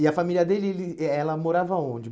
E a família dele, ele eh ela morava onde?